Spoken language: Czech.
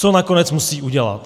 Co nakonec musí udělat?